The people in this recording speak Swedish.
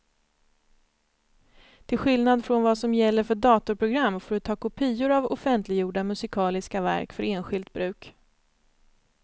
Till skillnad från vad som gäller för datorprogram får du ta kopior av offentliggjorda musikaliska verk för enskilt bruk.